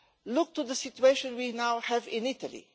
Look to the situation we now have in Italy.